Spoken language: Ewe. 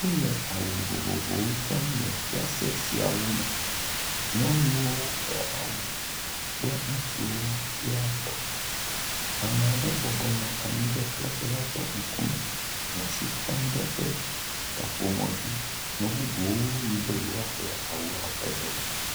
O le awu vovovowo dzram le fiase siawo me, nyɔnuwo ƒe awu, kple ŋutsuwo sia tɔ, amaɖe bɔbɔnɔ anyi ɖe fiase la ƒe ŋukume, le asi tem ɖe eƒe kaƒomɔ dzi, me bubuwo yi be yewoa ƒle awuawo ƒe ɖewo.